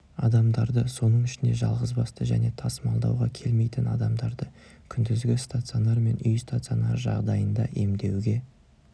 адамдарды соның ішінде жалғызбасты және тасымалдауға келмейтін адамдарды күндізгі стационар мен үй стационары жағдайында емдеуге